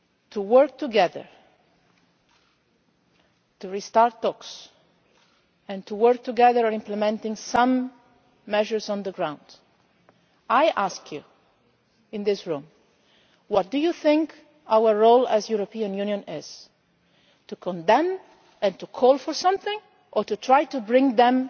to work together, to restart talks and to work together in implementing some measures on the ground, I ask you in this room what you think our role as the European Union is to condemn and to call for something or to try to bring them